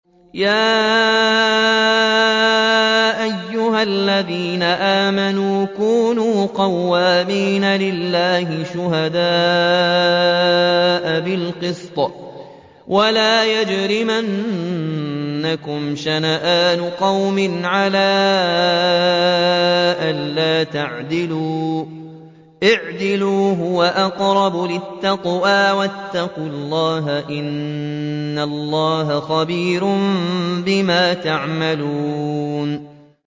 يَا أَيُّهَا الَّذِينَ آمَنُوا كُونُوا قَوَّامِينَ لِلَّهِ شُهَدَاءَ بِالْقِسْطِ ۖ وَلَا يَجْرِمَنَّكُمْ شَنَآنُ قَوْمٍ عَلَىٰ أَلَّا تَعْدِلُوا ۚ اعْدِلُوا هُوَ أَقْرَبُ لِلتَّقْوَىٰ ۖ وَاتَّقُوا اللَّهَ ۚ إِنَّ اللَّهَ خَبِيرٌ بِمَا تَعْمَلُونَ